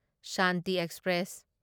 Shanti express